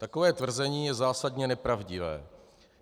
Takové tvrzení je zásadně nepravdivé.